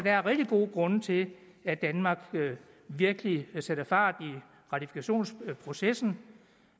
er rigtig gode grunde til at danmark virkelig sætter fart i ratifikationsprocessen